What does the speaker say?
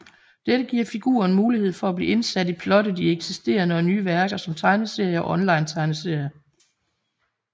Dette giver figuren mulighed for at blive indsat i plottet i eksisterende og nye værker som tegneserier og onlinetegneserier